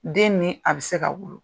Den ni a bɛ se ka wolo.